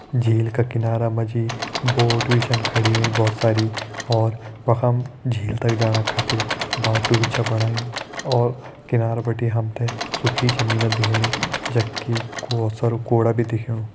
झील का किनारा मा जी बोट भी छन खड़ी होईं बहोत सारी और वखम झील तक जाणा खातिर बाटु भी छ बणायु और किनारा बिटि हम ते सुखी जमीन दिखेणी जखि बहोत सारु कुड़ा भी दिखेणु।